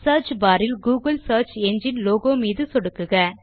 search bar இல் Google search engine logo மீது சொடுக்கவும்